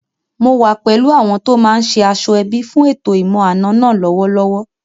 Mò wà pẹ̀lú àwọn tó máa ṣe aṣọ-ẹbí fún ètò ìmọ̀-àna náà lọ́wọ́lọ́wọ́